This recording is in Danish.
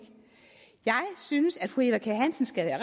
jeg synes at fru eva kjer hansen skal være